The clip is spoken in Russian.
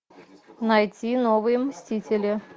найти новые мстители